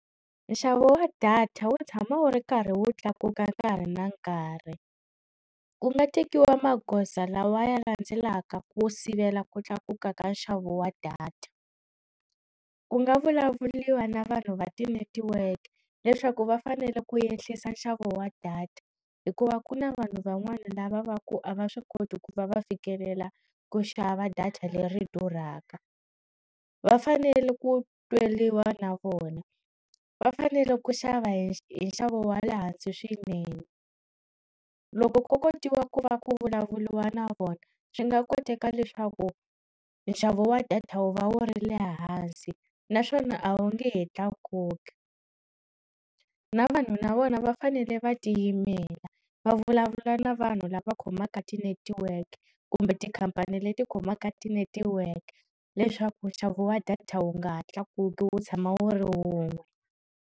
Nxavo wa data wu tshama wu ri karhi wu tlakuka nkarhi na nkarhi ku nga tekiwa magoza lawa ya landzelaka ku sivela ku tlakuka ka nxavo wa data, ku nga vulavuriwa na vanhu va ti-network leswaku va fanele ku yehlisa nxavo wa data hikuva ku na vanhu van'wana lava va ku a va swi koti ku va va fikelela ku xava data leri durhaka va fanele ku tweliwa na vona va fanele ku xava hi hinxavo wa le hansi swinene loko ko kotiwa ku va ku vulavuriwa na vona swi nga koteka leswaku nxavo wa data wu va wu ri le hansi naswona a wu nge he tlakuki na vanhu na vona va fanele va tiyimela va vulavula na vanhu lava khomaka ti-network kumbe tikhampani leti khomaka ti-netiweke leswaku nxavo wa data wu nga ha tlakuki wu tshama wu ri wun'we.